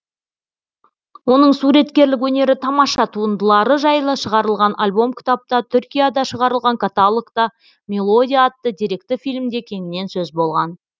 оның суреткерлік өнері тамаша туындылары жайлы шығарылған альбом кітапта түркияда шығарылған каталогта мелодия атты деректі фильмде кеңінен сөз болған